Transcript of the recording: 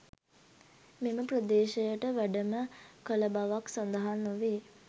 මෙම ප්‍රදේශයට වැඩම කළ බවක් සඳහන් නොවේ.